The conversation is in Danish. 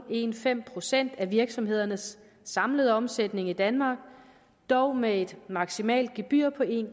procent af virksomhedernes samlede omsætning i danmark dog med et maksimalt gebyr på en